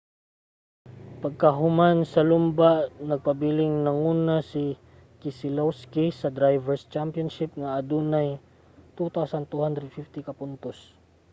pagkahuman sa lumba nagpabiling nanguna si keselowski sa drivers' championship nga adunay 2,250 ka puntos